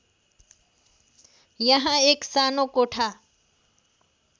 यहाँ एक सानो कोठा